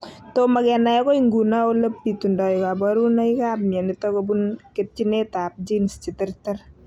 Tomo kenai akoi nguno ole bitundoi kaborunoikab mionitok kobun ketchinetab genes cheterter